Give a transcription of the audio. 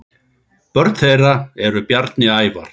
Börn þeirra eru Bjarni Ævar.